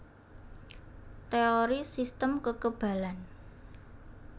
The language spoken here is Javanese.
Teori sistem kekebalan